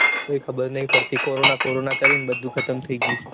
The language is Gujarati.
કાંઈ ખબર નઈ પડતી કોરોના કોરોના કરીને બધું ખતમ થઇ ગયું છે